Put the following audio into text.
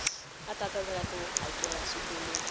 a tsandzekaku ku hakela swikweletu